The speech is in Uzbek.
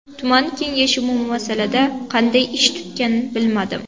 Tuman kengashi bu masalada qanday ish tutgan bilmadim.